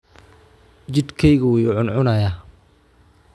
Jidhkaygu wuu ii cuncunayaa